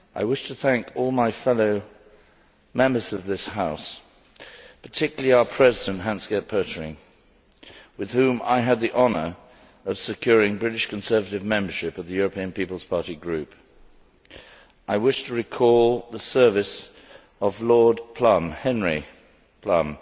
I wish to thank all my fellow Members of this House, particularly our President, Hans Gert Pöttering, with whom I had the honour of securing British Conservative membership of the Group of the European People's Party. I wish to recall the service of Lord Plumb Henry Plumb